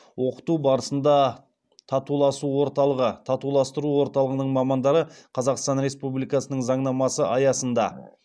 оқыту барысында татуласу орталығы татуластыру орталығының мамандары қазақстан республикасының заңнамасы аясында